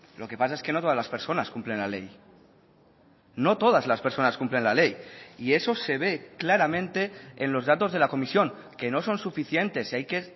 lo que pasa es que no todas las personas cumplen la ley no todas las personas cumplen la ley y eso se ve claramente en los datos de la comisión que no son suficientes y hay que